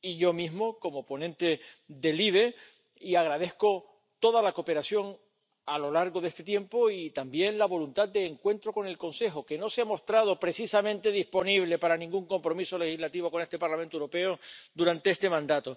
y yo mismo como ponente de la Comisión de Libertades Civiles, Justicia y Asuntos de Interior, y agradezco toda la cooperación a lo largo de este tiempo y también la voluntad de encuentro con el Consejo, que no se ha mostrado precisamente disponible para ningún compromiso legislativo con el Parlamento Europeo durante este mandato.